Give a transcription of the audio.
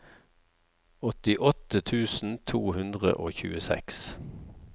åttiåtte tusen to hundre og tjueseks